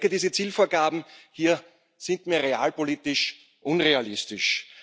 Diese Zielvorgaben hier sind mir realpolitisch unrealistisch.